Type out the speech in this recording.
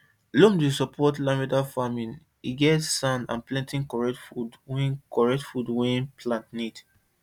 loam dey support lavender farming e get sand and plenty correct food wey correct food wey plant need